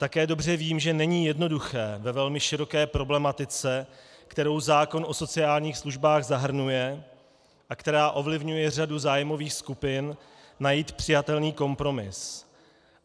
Také dobře vím, že není jednoduché ve velmi široké problematice, kterou zákon o sociálních službách zahrnuje a která ovlivňuje řadu zájmových skupin, najít přijatelný kompromis.